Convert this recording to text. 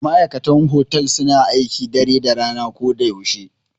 Ma'aikatan otal suna aiki dare da rana ko da yaushe.